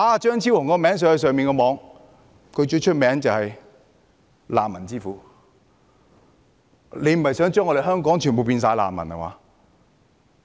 在互聯網上搜尋"張超雄"，他最出名就是"難民之父"，他不是想將香港人全部變成難民吧。